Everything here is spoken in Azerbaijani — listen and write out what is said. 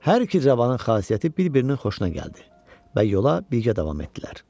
Hər iki cavanın xasiyyəti bir-birinin xoşuna gəldi və yola birgə davam etdilər.